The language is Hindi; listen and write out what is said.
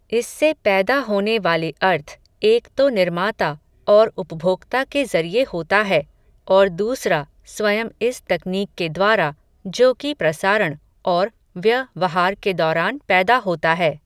इससे पैदा होने वाले अर्थ, एक तो निर्माता, और उपभोक्ता के ज़रिए होता है, और दूसरा, स्वयं इस तकनीक के द्वारा, जो कि प्रसारण, और व्य वहार के दौरान पैदा होता है